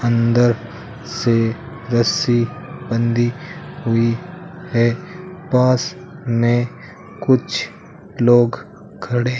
अंदर से रस्सी बंधी हुई है पास में कुछ लोग खड़े--